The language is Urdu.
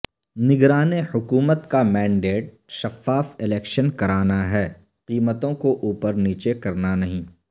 نگران حکومت کا مینڈیٹ شفاف الیکشن کرانا ہے قیمتوں کو اوپر نیچے کرنا نہیں